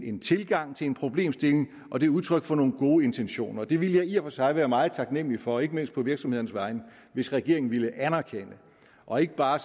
en tilgang til en problemstilling og det er udtryk for nogle gode intentioner og det ville jeg i og for sig være meget taknemlig for ikke mindst på virksomhedernes vegne hvis regeringen ville anerkende og ikke bare